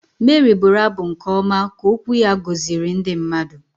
Meri bụrụ abụ nke ọma ka okwu ya gọziri ndị mmadụ.